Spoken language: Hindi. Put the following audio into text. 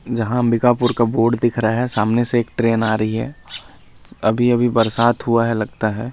जहाँ अंबिकापुर का बोर्ड दिख रहा है सामने से एक ट्रेन आ रही है अभी-अभी बरसात हुआ है लगता है।